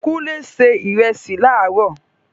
Kúnlé se ìrẹsì láró